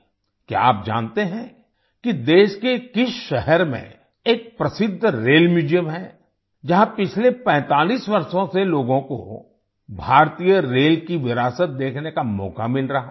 क्या आप जानते हैं कि देश के किस शहर में एक प्रसिद्ध रेल म्यूजियम है जहाँ पिछले 45 वषों से लोगो को भारतीय रेल की विरासत देखने का मौका मिल रहा है